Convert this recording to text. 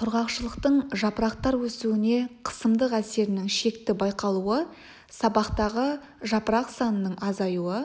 құрғақшылықтың жапырақтар өсуіне қысымдық әсерінің шекті байқалуы сабақтағы жапырақ санының азаюы